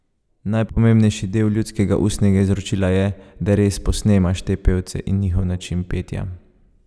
Najpomembnejši del ljudskega ustnega izročila je, da res posnemaš te pevce in njihov način petja.